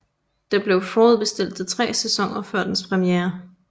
Den blev forudbestilt til tre sæsoner før dens premiere